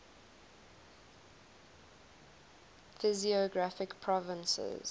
physiographic provinces